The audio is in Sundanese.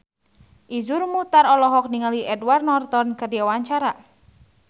Iszur Muchtar olohok ningali Edward Norton keur diwawancara